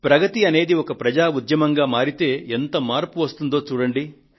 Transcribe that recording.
ప్రగతి అనేది ఒక ప్రజా ఉద్యమంగా మారితే ఎంత మార్పు వస్తుందో చూడండి